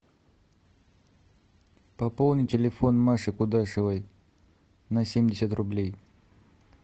пополни телефон маши кудашевой на семьдесят рублей